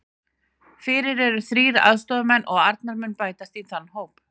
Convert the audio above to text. Fyrir eru þrír aðstoðarmenn og Arnar mun bætast í þann hóp.